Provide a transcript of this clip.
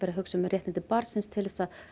að hugsa um réttindi barnsins til þess að